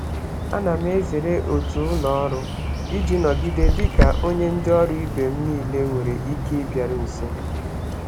Ana m ezere otu ụlọ ọrụ iji nọgide dị ka onye ndị ọrụ ibe m niile nwere ike ịbịaru nso.